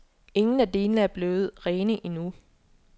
Ingen af delene er blevet rene endnu.